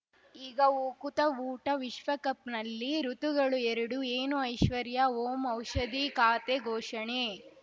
ಈಗ ಉಕುತ ಊಟ ವಿಶ್ವಕಪ್‌ನಲ್ಲಿ ಋತುಗಳು ಎರಡು ಏನು ಐಶ್ವರ್ಯಾ ಓಂ ಔಷಧಿ ಖಾತೆ ಘೋಷಣೆ